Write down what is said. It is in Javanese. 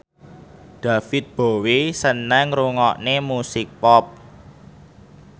David Bowie seneng ngrungokne musik pop